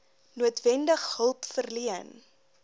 noodwendig hulp verleen